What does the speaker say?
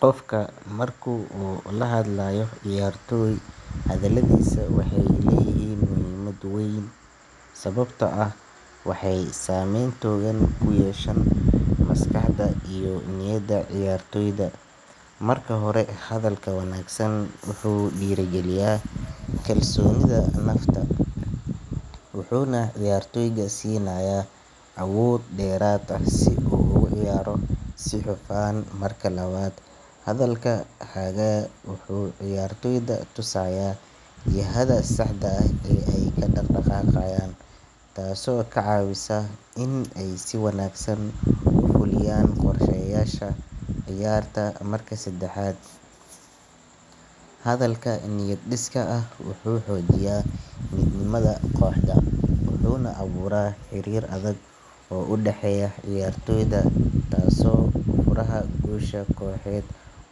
Qofka marku la hadlayo ciyaartooy hadaladiso waxe leyihin muhimad weyn sababto ah waxey sameyn toogan uyeshan maskahdoda iyo niyada ciyaartooyda marka hore hadalka wanaagsan wuxu diragiliya kalsonida naftaa wuxuna ciyaartooyda siinaya awood deerada sidho kale marka lawada hadalka ciyaartooyda tusaya jiihada saxda ee kadaqdaqaqayan taaso kacawiisa in ey si wanaagsan ufuliyan qorshayasha marka sedaaxad hadalka niyad diiska ah wuxu hojiiya mid nimaada qoxda oo udaaheya ciyaartooyda taaso